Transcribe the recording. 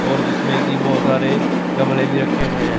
और जिसमें की बहोत सारे गमले भी रखे हुए हैं।